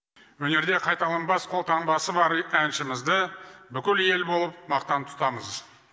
өнерде қайталанбас қолтаңбасы бар әншімізді бүкіл ел болып мақтан тұтамыз